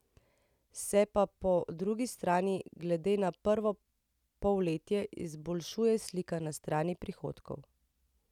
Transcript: Se pa po drugi strani glede na prvo polletje izboljšuje slika na strani prihodkov.